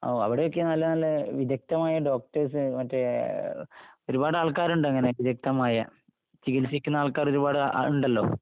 ഓ അവിടെയൊക്കെ നല്ലനല്ല വിഗഗ്ധമായ ഡോക്ടെർസ്... മറ്റേ.... ഒരുപാട് ആൾക്കാരുണ്ട് അങ്ങനെ... വിഗഗ്ധമായ... ചികിൽസിക്കുന്ന ആൾക്കാര് ഒരുപാട് ഉണ്ടല്ലോ...